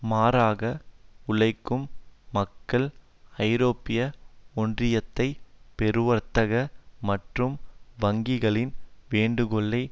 மாறாக உழைக்கும் மக்கள் ஐரோப்பிய ஒன்றியத்தை பெருவர்த்தக மற்றும் வங்கிகளின் வேண்டுகோளை